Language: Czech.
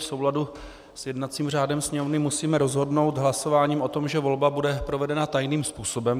V souladu s jednacím řádem Sněmovny musíme rozhodnout hlasováním o tom, že volba bude provedena tajných způsobem.